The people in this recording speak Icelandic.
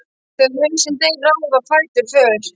Þegar hausinn deyr ráða fætur för.